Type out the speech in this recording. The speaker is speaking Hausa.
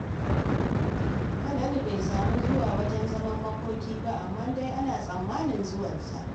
Falalu bai sami zuwa wajen zaman makokin ba, amma dai ana tsammanin zuwan sa.